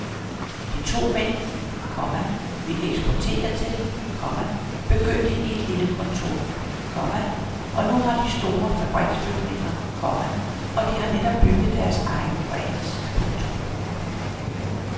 De to mænd, komma vi eksporterer til, komma begyndte i et lille kontor, komma og nu har de store fabriksbygninger, komma og de har netop bygget deres egen ranch. punktum